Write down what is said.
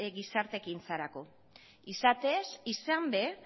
ekintzarako izatez izan ere